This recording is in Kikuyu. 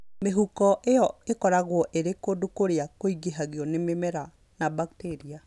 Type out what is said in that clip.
Mĩhuko ĩyo ĩkoragwo ĩrĩ kũndũ kũrĩa kũingĩhagio nĩ mĩmera na bakteria.